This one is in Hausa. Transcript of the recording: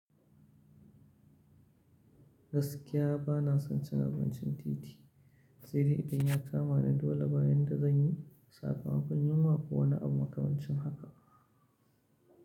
Gaskiya bana son cin abincin titi, sai idan ya kama ni dole bayan da zan yi sakama makon yunwa kowane abu makamancin haka.